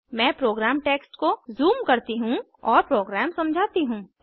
मैं program text को zoom करती हूँ और प्रोग्राम समझाती हूँ